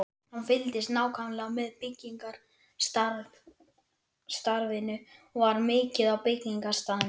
Hann fylgdist nákvæmlega með byggingarstarfinu og var mikið á byggingarstaðnum.